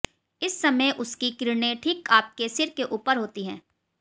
इस समय उसकी किरणें ठीक आपके सिर के ऊपर होती हैं